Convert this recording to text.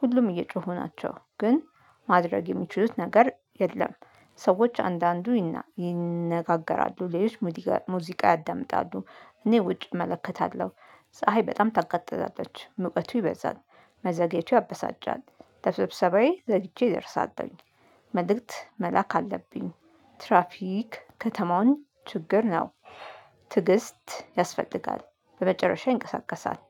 ሁሉም እየጮሁ ናቸው ግን ማድረግ የሚችሉት ነገር የለም። ሰዎች አንዳንዱ ይነጋገራሉ ሌሎች ሙዚቃ ያዳምጣሉ። እኔ ውጭ እመለከታለሁ ፀሀይ በጣም ተቀጥተላታለች ሙቀቱ ይበዛል መዘግየቱ ያበሳጫል። ለስብሰባዬ ዘግቼ እደርሳለሁኝ መልእክት መላክ አለብኝ። ትራፊክ ከተማውን ችግር ነው። ትዕግስት ያስፈልጋል በመጨረሻ ይንቀሳቀሳል